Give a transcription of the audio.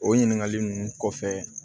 O ɲininkali ninnu kɔfɛ